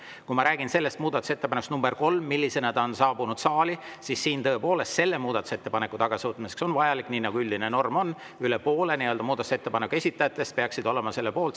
Kui ma räägin muudatusettepanekust nr 3, mis on saali saabunud, siis selle muudatusettepaneku tagasivõtmiseks on tõepoolest vaja, nagu üldine norm on, et üle poole muudatusettepaneku esitajatest oleks selle poolt.